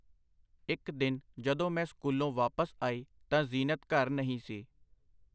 ਇੱਕ ਦਿਨ ਜਦੋਂ ਮੈਂ ਸਕੂਲੋਂ ਵਾਪਸ ਆਈ ਤਾਂ ਜ਼ੀਨਤ ਘਰ ਨਹੀਂ ਸੀ.